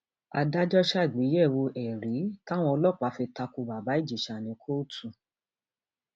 adájọ ṣàgbéyẹwò ẹrí táwọn ọlọpàá fi ta ko bàbá ìjẹsà ní kóòtù